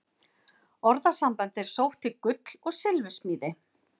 Orðasambandið er sótt til gull- og silfursmíði.